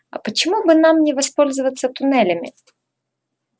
а почему бы нам не воспользоваться туннелями